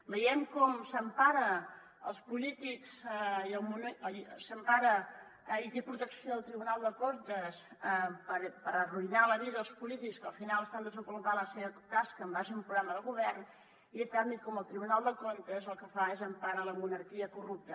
veiem com s’empara i té protecció del tribunal de comptes per arruïnar la vida als polítics que al final estan desenvolupant la seva tasca en base a un progra·ma de govern i en canvi el tribunal de comptes el que fa és emparar la monarquia corrupta